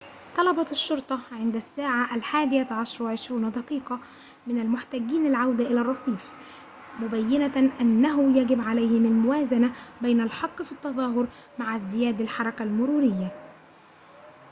طلبت الشرطة عند الساعة 11:20 من المحتجين العودة إلى الرصيف مبينّة أنه يجب عليهم الموازنة بين الحق في التظاهر مع ازدياد الحركة المرورية